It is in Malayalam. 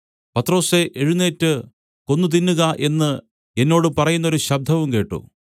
പത്രൊസേ എഴുന്നേറ്റ് കൊന്നു തിന്നുക എന്ന് എന്നോട് പറയുന്നൊരു ശബ്ദവും കേട്ട്